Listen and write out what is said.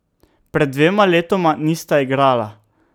Pred dvema letoma nista igrala.